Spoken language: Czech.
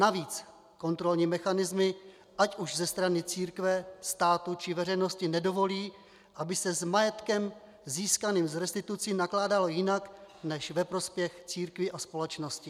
Navíc kontrolní mechanismy ať už ze strany církve, státu či veřejnosti nedovolí, aby se s majetkem získaným z restitucí nakládalo jinak než ve prospěch církví a společnosti.